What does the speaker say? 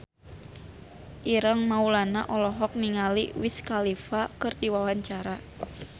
Ireng Maulana olohok ningali Wiz Khalifa keur diwawancara